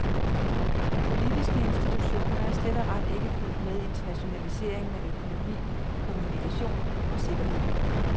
De politiske institutioner er slet og ret ikke fulgt med internationaliseringen af økonomi, kommunikation og sikkerhed.